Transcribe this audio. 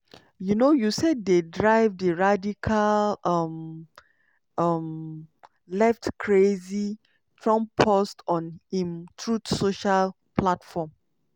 um "usaid dey drive di radical um um left crazy" trump post on im truth social platform.